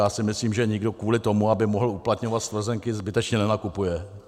Já si myslím, že nikdo kvůli tomu, aby mohl uplatňovat stvrzenky, zbytečně nenakupuje.